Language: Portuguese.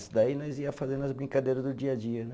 Isso daí nós ia fazendo as brincadeira do dia a dia, né?